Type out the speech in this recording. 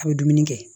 A bɛ dumuni kɛ